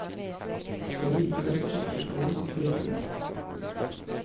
Det er likevel sukkerskålen som frister mest.